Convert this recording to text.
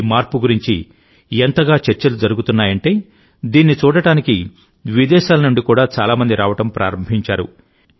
ఈ మార్పు గురించి ఎంతగా చర్చలు జరుగుతున్నాయంటే దీన్ని చూడటానికి విదేశాల నుండి కూడా చాలా మంది రావడం ప్రారంభించారు